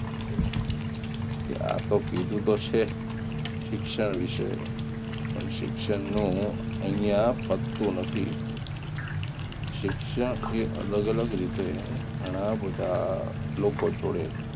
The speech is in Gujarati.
કે આ તો કીધું તો છે શિક્ષણ વિષે પણ શિક્ષણનું અહીંયા પચતું નથી શિક્ષણ અને અલગ અલગ રીતે ઘણા બધા લોકો જોડે